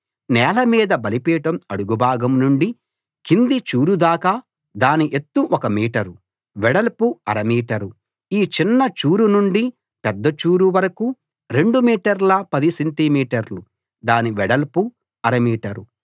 నేల మీద బలిపీఠం అడుగుభాగం నుండి కింది చూరుదాకా దాని ఎత్తు ఒక మీటరు వెడల్పు అర మీటరు ఈ చిన్న చూరు నుండి పెద్ద చూరు వరకూ 2 మీటర్ల 10 సెంటి మీటర్లు దాని వెడల్పు అర మీటరు